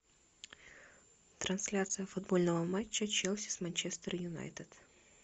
трансляция футбольного матча челси с манчестер юнайтед